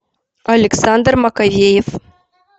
александр маковеев